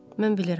Mən bilirəm.